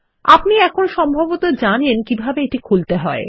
আপনি এখন সম্ভবত জানেন কিভাবে এটি খুলতে হয়